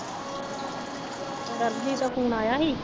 ਸਰਬਜੀਤ ਦਾ ਫੋਨ ਆਇਆ ਸੀ